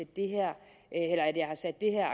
det her